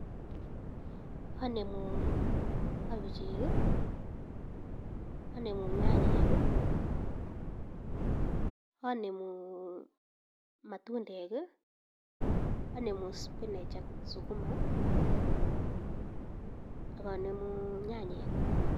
Anemu kabichek, anemu nyanyek, anemu matundek, anemu spinach ak sukuma ak anemu nyanyek.